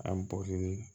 An bɔri